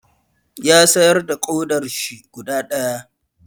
Ya sayar da ƙodarshi guda ɗaya.